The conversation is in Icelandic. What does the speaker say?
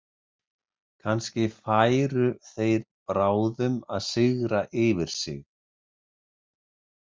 Kannski færu þeir bráðum að sigra yfir sig.